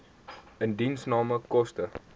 indiensname koste